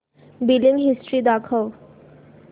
billing history दाखव